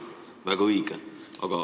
Väga õige!